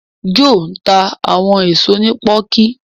Joe nta àwọn èso ní poku.